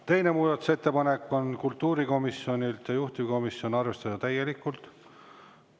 Teine muudatusettepanek on kultuurikomisjonilt, juhtivkomisjoni ettepanek on seda arvestada täielikult.